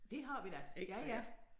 Det har vi da ja ja